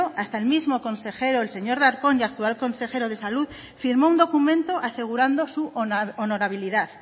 hasta el mismo consejero el señor darpón y actual consejero de salud firmó un documento asegurando su honorabilidad